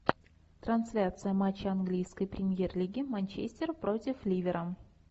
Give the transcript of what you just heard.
трансляция матча английской премьер лиги манчестер против ливера